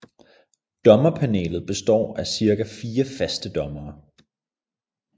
Dommerpanelet består af ca fire faste dommere